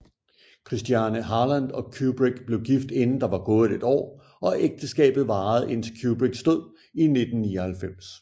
Christiane Harlan og Kubrick blev gift inden der var gået et år og ægteskabet varede indtil Kubricks død i 1999